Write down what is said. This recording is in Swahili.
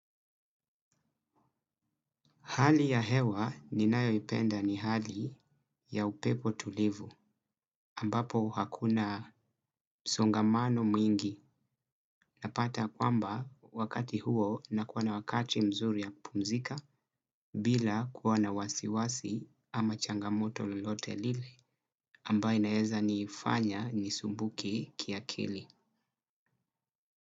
Hali ya hewa ninayoipenda ni hali ya upepo tulivu ambapo hakuna msongamano mwingi na pata kwamba wakati huo na kuwa na wakati mzuri ya pumzika bila kuwa na wasiwasi ama changamoto lolote lile ambaye inaeza niifanya ni sumbuke kia kili.